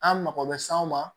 An mako bɛ se anw ma